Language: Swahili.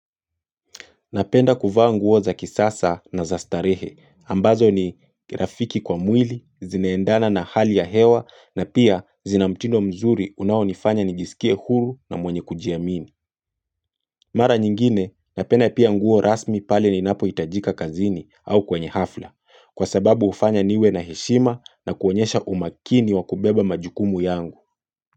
Napenda kuvaa nguo za kisasa na za starehe, ambazo ni rafiki kwa mwili, zinaendana na hali ya hewa, na pia zinamtindo mzuri unaonifanya nijisikie huru na mwenye kujiamini. Mara nyingine, napenda pia nguo rasmi pale ni napo hitajika kazini au kwenye hafla, kwa sababu hufanya niwe na heshima na kuonyesha umakini wakubeba majukumu yangu.